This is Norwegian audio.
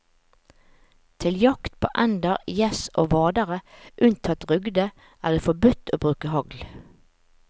Til jakt på ender, gjess og vadere unntatt rugde er det forbudt å bruke hagl.